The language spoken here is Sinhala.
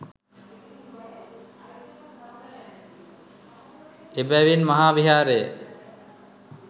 එබැවින් මහාවිහාරය